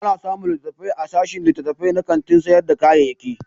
Ana samun littattafai a sashin littattafai na kantin sayar da kayayyaki.